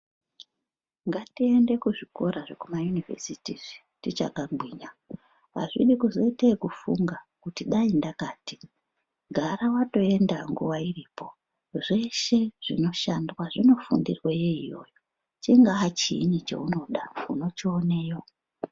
Ngatiende kuzvikora zvekuma yunivhesiti izvi tichakagwinya azvidi kuzoite ekufunga kuti dai ndakati gara watoenda nguwa iripo zveshe zvinoshandwa zvinofundirweyo iyoyo chingaa chiini cheunoda unochioneye.